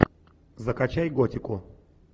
закачай готику